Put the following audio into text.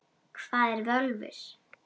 Hvað eru völvur?